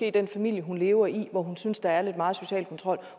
i den familie hun lever i hvor hun synes der er lidt meget social kontrol